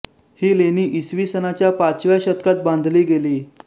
ही लेणी इसवी सनाच्या पाचव्या शतकात बांधली गेली